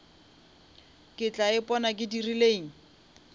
ke tla ipona ke dirileng